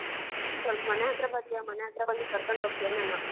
ಸೊಲ್ಪ್ ಮನೆ ಹತ್ರ ಬರ್ತೀಯಾ ಮನೆ ಹತ್ರ ಬಂದು ಕರ್ಕೊಂಡ್ಹೋಗ್ತಿಯ ನನ್ನ?